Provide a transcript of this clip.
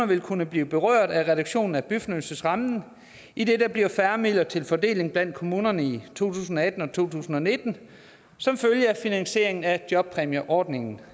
vil kunne blive berørt af reduktionen i byfornyelsesrammen idet der bliver færre midler til fordeling blandt kommunerne i to tusind og atten og to tusind og nitten som følge af finansieringen af jobpræmieordningen